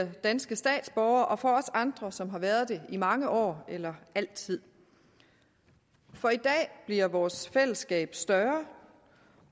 danske statsborgere og for os andre som har været det i mange år eller altid for i dag bliver vores fællesskab større